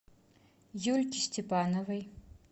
юльки степановой